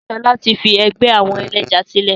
Sọlá tí fi ẹgbẹ́ àwọn ẹlẹ́ja sílẹ̀